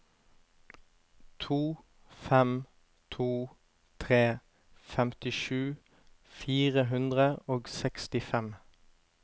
to fem to tre femtisju fire hundre og sekstifem